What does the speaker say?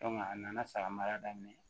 a nana saga mara